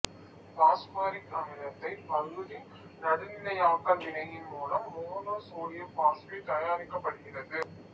பாசுபாரிக் அமிலத்தை பகுதி நடுநிலையாக்கல் வினையின் மூலம் மோனோசோடியம் பாசுபேட்டு தயாரிக்கப்படுகிறது